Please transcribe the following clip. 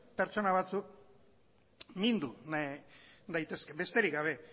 pertsona batzuk mindu daitezke besterik gabe